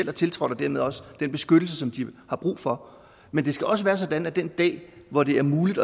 har tiltrådt og dermed også den beskyttelse som de har brug for men det skal også være sådan at den dag hvor det er muligt